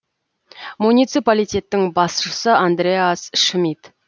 муниципалитеттің басшысы андреас шмид